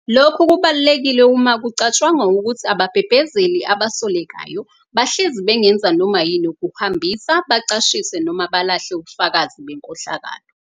Lokhu kubalulekile uma kucatshangwa ukuthi ababhebhezeli abasolekayo bahlezi bengenza noma yini ukuhambisa, bacashise noma balahle ubufakazi benkohlakalo.